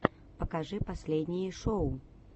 покажи последние шоу